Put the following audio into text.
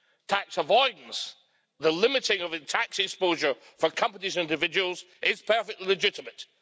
Tax avoidance, the limiting of tax exposure for companies and individuals, is perfectly legitimate.